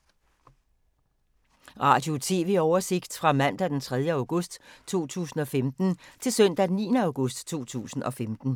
Radio/TV oversigt fra mandag d. 3. august 2015 til søndag d. 9. august 2015